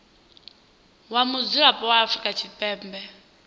wa mudzulapo wa afrika tshipembe